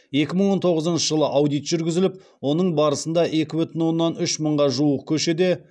екі мың он тоғызыншы жылы аудит жүргізіліп оның барысында екі бүтін оннан үш мыңға жуық көшеде